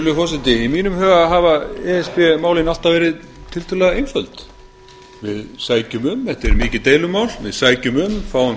virðulegur forseti í mínum huga hafa e s b málin alltaf verið tiltölulega einföld þetta er mikið deilumál við sækjum um fáum